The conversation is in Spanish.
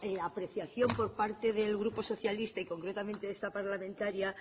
la apreciación por parte del grupo socialista y concretamente de esta parlamentaria